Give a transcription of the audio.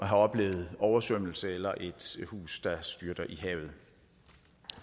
har oplevet oversvømmelse eller et hus der styrter i havet